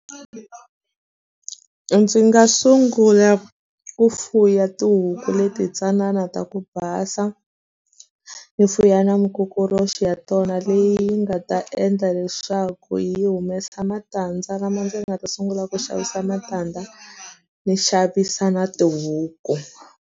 Ndzi nga sungula ku fuya tihuku leti ntsanana ta ku basa, ni fuya na mukokoroxi ya tona leyi nga ta endla leswaku yi humesa matandza lama ndzi nga ta sungula ku xavisa matandza, ni xavisa na tihuku.